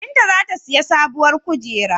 Binta za ta siyi sabuwar kujera.